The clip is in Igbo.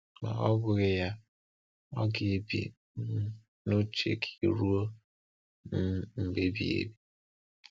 Ma ọ bụghị ya, ọ ga-ebi um n’uche gị ruo um mgbe ebighị ebi.